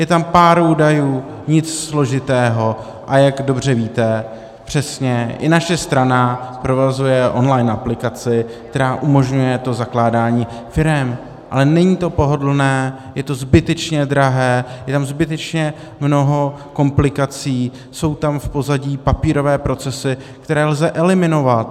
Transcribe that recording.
Je tam pár údajů, nic složitého, a jak dobře víte, přesně, i naše strana provozuje on-line aplikaci, která umožňuje zakládání firem, ale není to pohodlné, je to zbytečně drahé, je tam zbytečně mnoho komplikací, jsou tam v pozadí papírové procesy, které lze eliminovat.